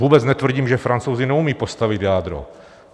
Vůbec netvrdím, že Francouzi neumí postavit jádro.